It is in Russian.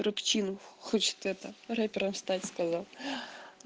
рэпчинов хочет это рэпером стать сказал